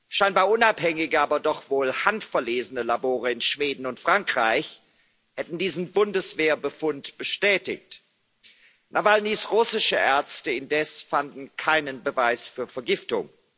Scheinbar unabhängige, aber doch wohl handverlesene Labore in Schweden und Frankreich hätten diesen Bundeswehrbefund bestätigt. Nawalnys russische Ärzte indes fanden keinen Beweis für Vergiftung.